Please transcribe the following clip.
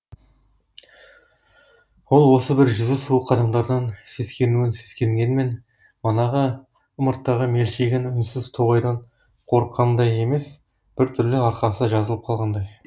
ол осы бір жүзі суық адамдардан сескенуін сескенгенмен манағы ымырттағы мелшиген үнсіз тоғайдан қорыққанындай емес бір түрлі арқасы жазылып қалғандай